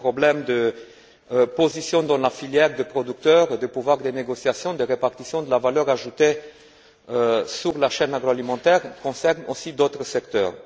Ces problèmes de position dans la filière des producteurs, de pouvoir de négociation, de répartition de la valeur ajoutée sur la chaîne agroalimentaire concernent aussi d'autres secteurs.